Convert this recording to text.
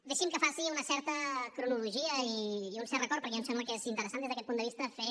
deixi’m que faci una certa cronologia i un cert record perquè a mi em sembla que és interessant des d’aquest punt de vista fer